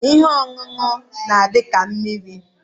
Ihe oṅụnụ n'adi ka mmiri.